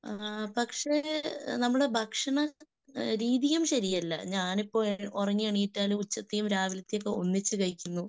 ങ്ഹ് പക്ഷെ നമ്മുടെ ഭക്ഷണ രീതിയും ശെരിയല്ല. ഞാനിപ്പോ ഉറങ്ങി എണീറ്റാൽ ഉച്ചത്തേയും രാവിലത്തേയും ഒക്കെ ഒന്നിച്ചു കഴിക്കുന്നു.